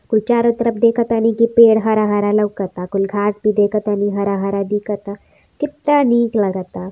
कुल चारो तरफ देखतानी की पेड़ हरा हरा लौका ताकुल घाट भी देखतानी हरा हरा दीखता कितना निक लगता।